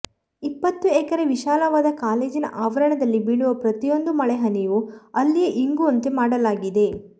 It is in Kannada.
ಇಪ್ಪತ್ತು ಎಕರೆ ವಿಶಾಲವಾದ ಕಾಲೇಜಿನಆವರಣದಲ್ಲಿ ಬೀಳುವ ಪ್ರತಿಯೊಂದು ಮಳೆ ಹನಿಯೂ ಅಲ್ಲಿಯೇ ಇಂಗುವಂತೆ ಮಾಡಲಾಗಿದೆ